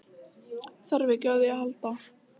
Þarf ekki á því að halda.